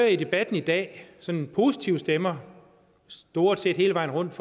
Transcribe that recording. i debatten i dag sådan positive stemmer stort set hele vejen rundt